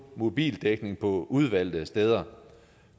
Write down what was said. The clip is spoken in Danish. mobildækning på udvalgte steder